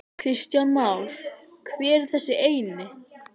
Kristján Már: Hver er þessi eini?